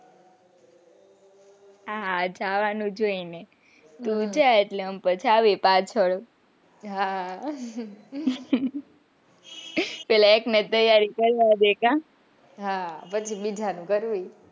હા હા જવાનું જ હોયને તું જ પછી અમે આવીયે પાછળ આહ પેલા એકને તો તૈયારી કરવા દે ને હા પછી બીજાનું કરીયે.